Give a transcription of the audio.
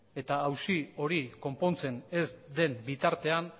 eta auzi hori konpontzen ez den bitartean